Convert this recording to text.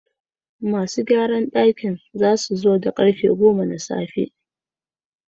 Masu gyarar dakin za su zo a karfe goma na tsafe.